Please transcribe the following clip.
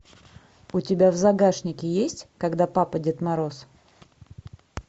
у тебя в загашнике есть когда папа дед мороз